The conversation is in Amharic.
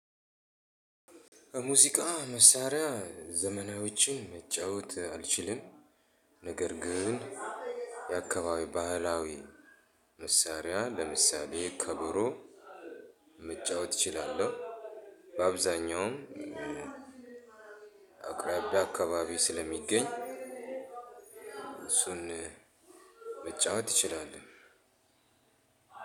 ሙዚቃ መሳሪያ ዘመናዊዎችን መጫወት አልችልም ነገር ግን የአካባቢ ባህላዊ መሳሪያ ለምሳሌ ከበሮ መጫወት እችላለሁ። በአብዛኛውም አቅራቢያ አካባቢ ስለሚገኝ እሱን መጫወት እችላለህ።